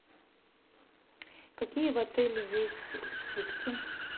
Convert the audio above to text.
какие в отеле есть скидки